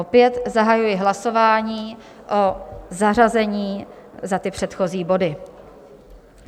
Opět zahajuji hlasování o zařazení za ty předchozí body.